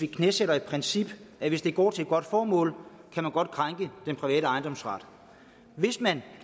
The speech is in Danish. knæsætte det princip at hvis det går til et godt formål kan man godt krænke den private ejendomsret hvis man